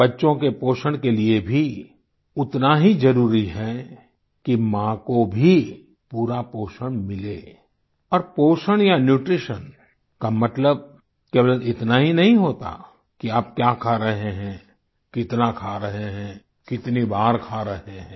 बच्चों के पोषण के लिये भी उतना ही जरुरी है कि माँ को भी पूरा पोषण मिले और पोषण या न्यूट्रीशन का मतलब केवल इतना ही नहीं होता कि आप क्या खा रहे हैं कितना खा रहे हैं कितनी बार खा रहे हैं